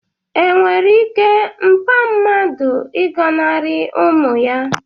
enwere ike mpa mmadu ịgọnarị ụmụ ya?